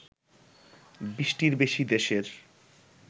২০টির বেশি দেশের